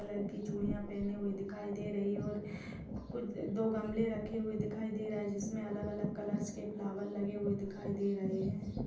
कलर की चूड़ियां पहने हुई दिखाई दे रही हैं और कुछ दो गमले रखे हुए दिखाई दे रहे हैं जिसमें अलग-अलग कलर्स के फ्लावर लगे हुए दिखाई दे रहे हैं।